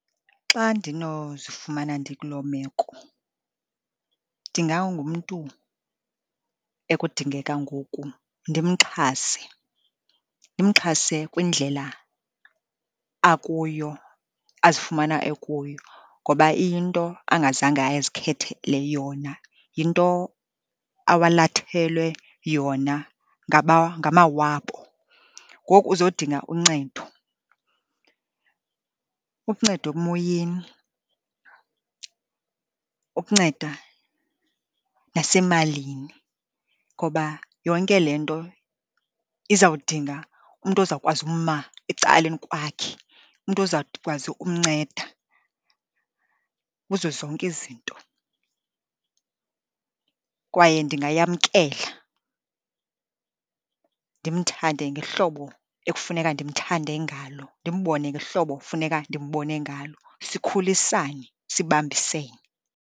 Xa ndinozifumana ndikuloo meko ndingangumntu ekudingeka ngoku ndimxhase, ndimxhase kwindlela akuyo, azifumana ekuyo ngoba iyinto angazange ayezikhethele yona, yinto awalathelwe yona ngamawabo. Ngoku uzodinga uncedo, ukuncedwa emoyeni, ukunceda nasemalini ngoba yonke le nto izawudinga umntu ozawukwazi uma ecaleni kwakhe, umntu ozawukwazi ukumnceda kuzo zonke izinto. Kwaye ndingayamkela ndimthande ngehlobo ekufuneka ndimthande ngalo, ndimbone ngehlobo funeka ndimbone ngalo, sikhulisane, sibambisene.